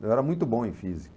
Eu era muito bom em física.